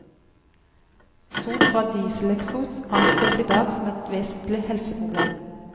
Sot fra dieseleksos anses i dag som et vesentlig helseproblem.